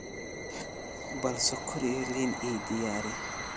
bal sokor iyo liin ii diyaari